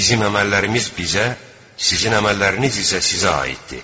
Bizim əməllərimiz bizə, sizin əməlləriniz isə sizə aiddir.